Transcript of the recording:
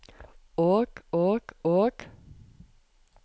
og og og